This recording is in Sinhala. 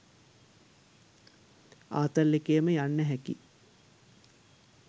ආතල් එකේම යන්න හැකියි.